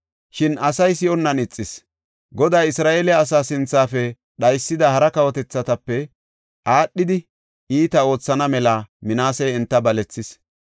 Shin asay si7onnan ixis; Goday Isra7eele asaa sinthafe dhaysida hara kawotethatape aadhidi iita oothana mela Minaasey enta balethis.